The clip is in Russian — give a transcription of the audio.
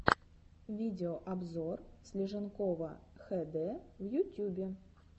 видеообзор слиженкова хд в ютюбе